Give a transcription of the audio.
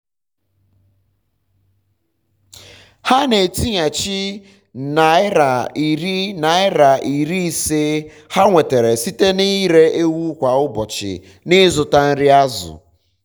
ha na-etinyechi naira iri naira iri ise ha nwetara site na ịre ewu kwà ụbọchị na-ịzụta nri azụ